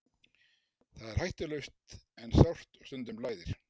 Það er hættulaust en sárt og stundum blæðir.